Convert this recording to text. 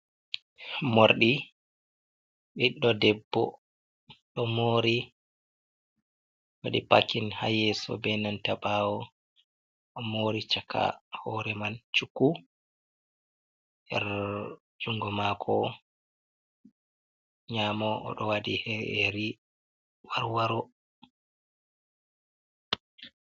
Morɗi ɓiɗɗo debbo ɗo mori waɗi pakin ha yeso be nanta ɓawo, o mori caka hore man chuku er jungo mako nyamo o ɗo waɗi ƴeri warwaro.